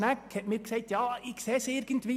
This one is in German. Schnegg hat mir gesagt, er sehe das irgendwie.